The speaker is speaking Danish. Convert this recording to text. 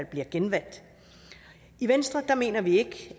bliver genvalgt i venstre mener vi